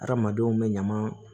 Hadamadenw bɛ ɲaman